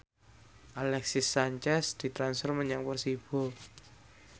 Alexis Sanchez ditransfer menyang Persibo